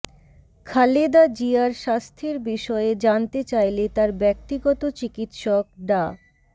খালেদা জিয়ার স্বাস্থ্যের বিষয়ে জানতে চাইলে তার ব্যক্তিগত চিকিৎসক ডা